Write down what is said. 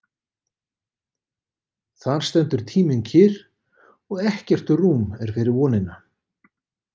Þar stendur tíminn kyrr og ekkert rúm er fyrir vonina.